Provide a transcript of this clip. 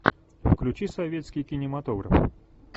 включи советский кинематограф